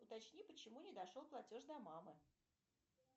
уточни почему не дошел платеж до мамы